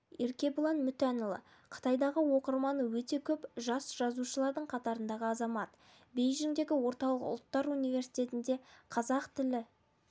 еркебұлан мүтәнұлы қытайдағы оқырманы өте көп жас жазушылардың қатарындағы азамат бейжіңдегі орталық ұлттар университетінде қазақ тілі